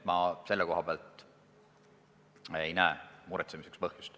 Ma selle koha pealt ei näe muretsemiseks põhjust.